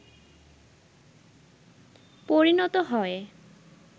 পরিণত হয়